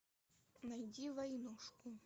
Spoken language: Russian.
найди войнушку